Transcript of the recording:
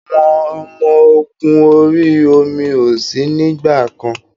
Àwọn ọmọ ogún orí omi ó sì nígbàkan.